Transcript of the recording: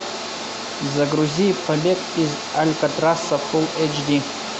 загрузи побег из алькатраса фулл эйч ди